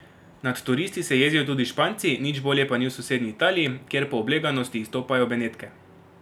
Nad turisti se jezijo tudi Španci, nič bolje pa ni v sosednji Italiji, kjer po obleganosti izstopajo Benetke.